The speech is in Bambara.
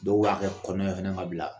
Dɔw b'a kɛ kɔnɔ fana ka bila